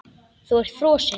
Þú ert frosin.